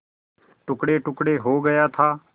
टुकड़ेटुकड़े हो गया था